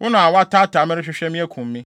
wo na woataataa me rehwehwɛ me akum me.